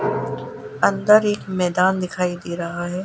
अंदर एक मैदान दिखाई दे रहा हैं।